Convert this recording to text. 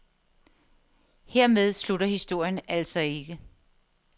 Hermed slutter historien altså ikke.